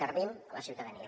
servim la ciutadania